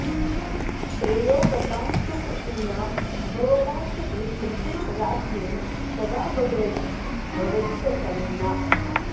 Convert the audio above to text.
श्रेयोवतां सुकृतिनां भवपाशभेत्री राज्ञी सदा भगवती भवतु प्रसन्ना